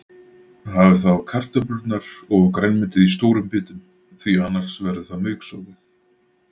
Hafið þá kartöflurnar og grænmetið í stórum bitum því annars verður það mauksoðið.